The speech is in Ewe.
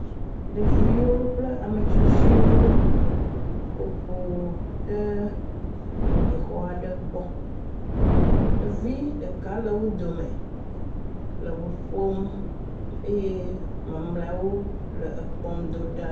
Ɖeviwo kple ametsitsiwo ƒo ƒu ɖe anyixɔ aɖe gbɔ, ɖevi ɖeka le wo dome le ŋu ƒom eye mamlɛawo le ekpɔm do ɖa.